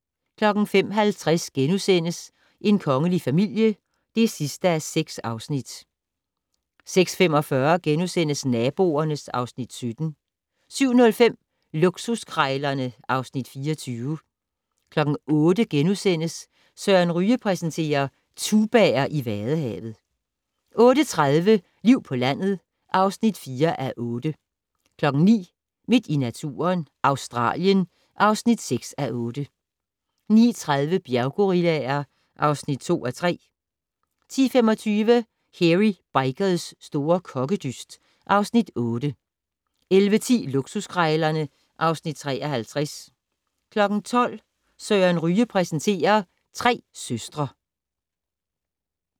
05:50: En kongelig familie (6:6)* 06:45: Naboerne (Afs. 17)* 07:05: Luksuskrejlerne (Afs. 24) 08:00: Søren Ryge præsenterer: Tubaer i vadehavet * 08:30: Liv på landet (4:8) 09:00: Midt i naturen - Australien (6:8) 09:30: Bjerggorillaer (2:3) 10:25: Hairy Bikers' store kokkedyst (Afs. 8) 11:10: Luksuskrejlerne (Afs. 53) 12:00: Søren Ryge præsenterer: Tre søstre